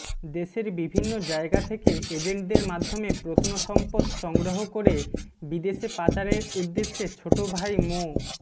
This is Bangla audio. দেশের বিভিন্ন জায়গা থেকে এজেন্টদের মাধ্যমে প্রত্নসম্পদ সংগ্রহ করে বিদেশে পাচারের উদ্দেশ্যে ছোট ভাই মো